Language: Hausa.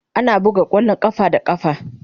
Ana buga kwallon kafa da kafa.